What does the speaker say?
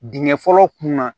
Dingɛ fɔlɔ kunna